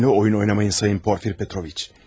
Mənimlə oyun oynamayın Sayın Porfir Petroviç.